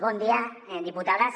bon dia diputades